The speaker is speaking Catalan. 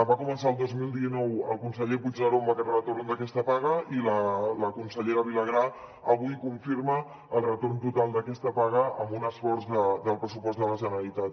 va començar el dos mil dinou el conseller puigneró amb el retorn d’aquesta paga i la consellera vilagrà avui confirma el retorn total d’aquesta paga amb un esforç del pressupost de la generalitat